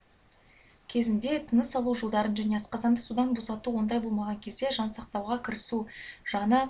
кезінде тыныс алу жолдарын және асқазанды судан босату ондай болмаған кезде жан сақтауға кірісу жаны